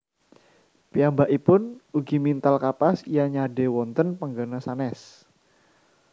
Piyambakipun ugi mintal kapas lan nyade wonten panggena sanes